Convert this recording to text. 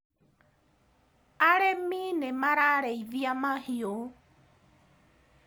arĩmi nĩmarariithia mahiũ